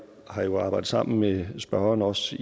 har jo arbejdet sammen med spørgeren også